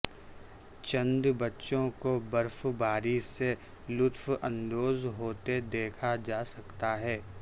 چند بچوں کو برف باری سے لطف اندوز ہوتے دیکھا جا سکتا ہے